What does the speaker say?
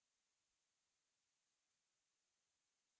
या अन्यथा negative प्रदर्शित होगा